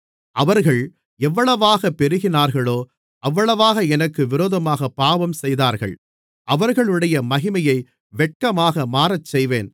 அவர்கள் எவ்வளவாகப் பெருகினார்களோ அவ்வளவாக எனக்கு விரோதமாகப் பாவஞ்செய்தார்கள் அவர்களுடைய மகிமையை வெட்கமாக மாறச்செய்வேன்